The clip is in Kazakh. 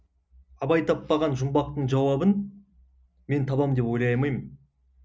абай таппаған жұмбақтың жауабын мен табамын деп ойлай алмаймын